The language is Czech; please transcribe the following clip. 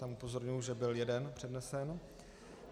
Tam upozorňuji, že byl jeden přednesen.